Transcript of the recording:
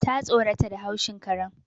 Ta tsorata da haushin karen